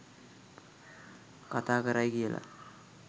කතා කරයි කියලා.